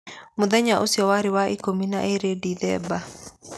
Mũthenya ũcio warĩ wa ikũmi na ĩĩrĩ Disemba.